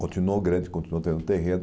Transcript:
Continuou grande, continuou tendo terreno.